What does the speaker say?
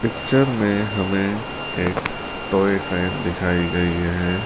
Picture में हमें एक टॉय ट्रेन दिखाई गई है।